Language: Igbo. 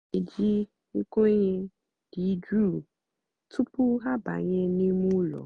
há nà-éjí nkwényé dị́ jụ́ụ́ túpú há àbányé nímé ụ́lọ̀.